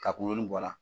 Ka kungo bɔ a la